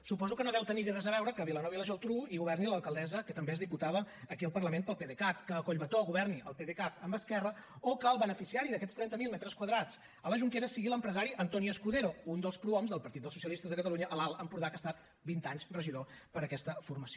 suposo que no deu tenir hi res a veure que a vilanova i la geltrú governi l’alcaldessa que també és diputada aquí al parlament pel pdecat que a collbató governi el pdecat amb esquerra o que el beneficiari d’aquests trenta mil metres quadrats a la jonquera sigui l’empresari antonio escudero un dels prohoms del partit del socialistes de catalunya a l’alt empordà que ha estat vint anys regidor per aquesta formació